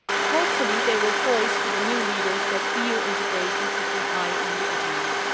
Hopefully, they will tell their new leaders that EU integration should be high on the agenda.